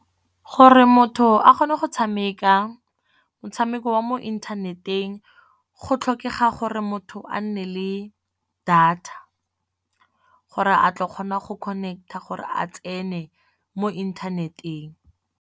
Gore motho a kgone go tshameka motshameko wa mo inthaneteng, go tlhokega gore motho a nne le data. Gore a tlo kgona go connect-a gore a tsene mo inthaneteng.